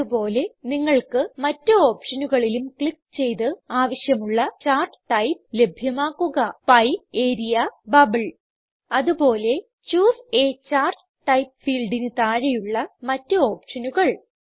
അത് പോലെ നിങ്ങൾക്ക് മറ്റ് ഓപ്ഷനുകളിലും ക്ലിക്ക് ചെയ്ത് ആവശ്യമുള്ള ചാർട്ട് ടൈപ്പ് ലഭ്യമാക്കുക പിയെ ൾട്ട്പോസെഗ്റ്റ് ആരിയ ൾട്ട്പോസെഗ്റ്റ് ബബിൾ ൾട്ട്പോസെഗ്റ്റ് അതുപോലെ ചൂസെ a ചാർട്ട് ടൈപ്പ് fieldന് താഴെയുള്ള മറ്റ് ഓപ്ഷനുകൾ